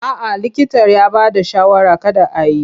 A'a likita ya bada shawarar kada a yi.